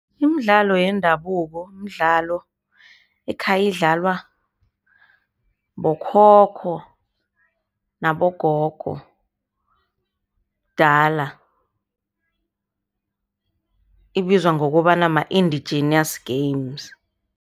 Imidlalo yendabuko mdlalo ekhayidlalwa bokhokho nabogogo dala ibizwa ngokobana ma-indigenous games.